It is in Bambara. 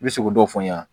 I bɛ se k'o dɔw fɔ n ɲɛna